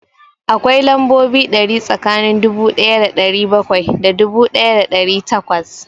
Akwai lambobi ɗari tsakanin dubu ɗaya da ɗari bakwai da dubu ɗaya da ɗari takwas